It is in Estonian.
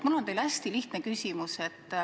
Mul on teile hästi lihtne küsimus.